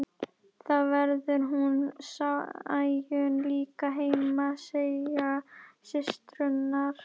Þá verður hún Sæunn líka heima, segja systurnar.